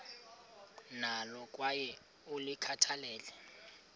nalo kwaye ulikhathalele